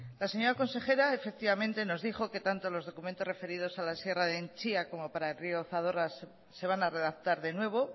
la señora consejera efectivamente nos dijo que tanto los documentos referidos a la sierra de entzia como para el río zadorra se van a redactar de nuevo